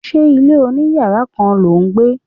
Ṣé ilé oní yàrá kan lò ń gbé?